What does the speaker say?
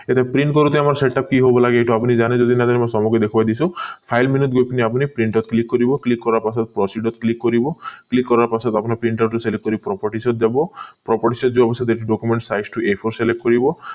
এতিয়া print কৰোতে আমাৰ setup কি হব লাগে এইটো আপুনি জানে যদি জানে মই চবকে দেখুৱাই দিছো file menu গৈ পিনি আপুনি print ত click কৰিব click কৰাৰ পাছত procedure ত click কৰিব click কৰাৰ পাছত আপুনি printer টো যোৱা কৰি properties ত যাব properties যোৱাৰ পিছত এইটো documents size টো a four select কৰিব